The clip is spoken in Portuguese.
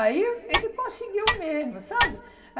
Aí ele conseguiu mesmo, sabe?